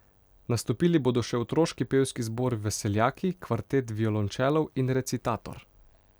Nastopili bodo še otroški pevski zbor Veseljaki, kvartet violončelov in recitator.